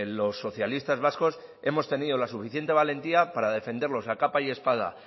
los socialistas vascos hemos tenido la suficiente valentía para defenderlos a capa y espada